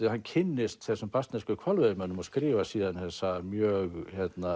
hann kynnist þessum hvalveiðimönnum og skrifar síðan þessa mjög